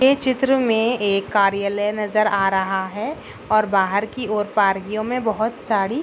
ये चित्र मे एक कार्यलय नजर आ रहा है और बाहर की वर बहुत सारी--